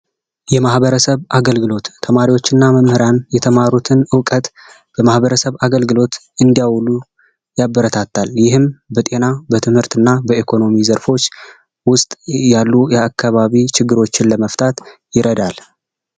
የማህበረሰብ አገልግሎት ተማሪዎችና መምህራን የተማሩትን ለማህበረሰብ አገልግሎት እንዲያው ያበረታታል፤ ለጤና ለትምህርት እና በኢኮኖሚ ዘርፍ ውስጥ ላሉ የአካባቢ ችግሮችን ለመፍታት ይረዳል።